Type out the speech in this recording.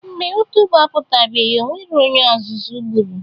Mgbe ụtaba apụtabeghị o nwero onye azụzụ gburu